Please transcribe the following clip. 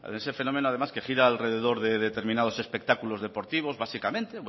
ese fenómeno además que gira alrededor determinados espectáculos deportivos básicamente